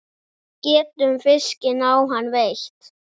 Getum fiskinn á hann veitt.